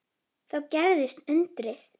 Þá gerðist undrið.